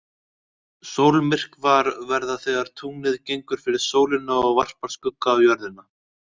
Sólmyrkvar verða þegar tunglið gengur fyrir sólina og varpar skugga á Jörðina.